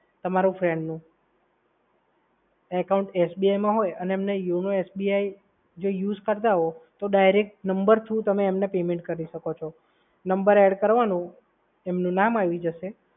તમારા friend નુ accountSBI માં હોય અને એમને YONOSBI જે use કરતાં હોય તો number through તમે એમને payment કરી શકો છો. number add કરવાનો એમનું નામ આવી જશે.